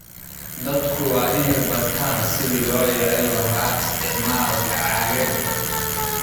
Dadku waa inay bartaan sidii loo yareyn lahaa isticmaalka caagagga.